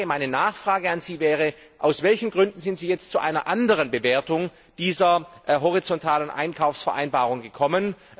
Meine Frage an Sie wäre Aus welchen Gründen sind Sie jetzt zu einer anderen Bewertung dieser horizontalen Einkaufsvereinbarung gekommen?